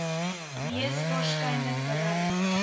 mees waarskynlik bereik